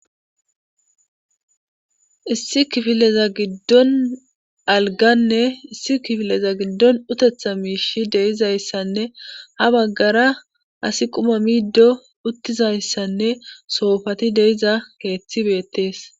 issi kifileza giddon alganne issi kifileza giddon utetha miishi deizayssanne ha baggara asi quma miiddo uttizayssanne soofati deiza keeththi beettees